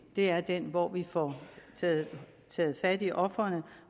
er den hvor vi får taget fat i ofrene